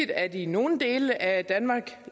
at i nogle dele af danmark